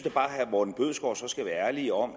at herre morten bødskov så skal være ærlig om